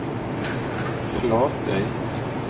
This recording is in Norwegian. Flatøy